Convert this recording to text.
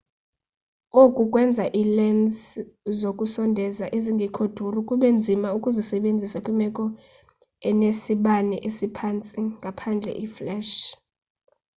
oku kwenza iilensi zokusondeza ezingekho duru kube nzima ukuzisebenzisa kwiimeko ezinesibane esiphantsi ngaphandle fleshi